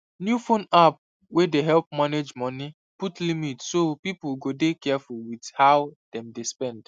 new phone app wey dey help manage money put limit so people go dey careful with how dem dey spend